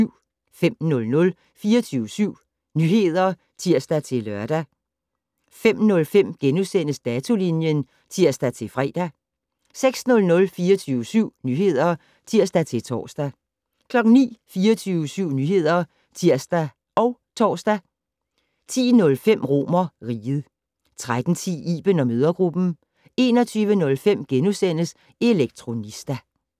05:00: 24syv Nyheder (tir-lør) 05:05: Datolinjen *(tir-fre) 06:00: 24syv Nyheder (tir-tor) 09:00: 24syv Nyheder (tir og tor) 10:05: RomerRiget 13:10: Iben & mødregruppen 21:05: Elektronista *